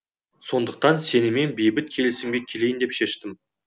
сондықтан сенімен бейбіт келісімге келейін деп шештім